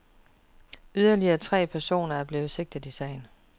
Yderligere tre personer er blevet sigtet i sagen.